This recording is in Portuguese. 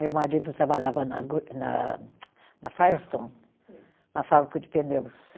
Meu marido trabalhava na go, na, na Firestone, uma fábrica de pneus.